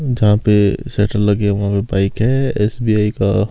जहां पे शेटर लगे हुए वहां बाइक है एस_बी_आई का--